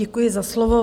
Děkuji za slovo.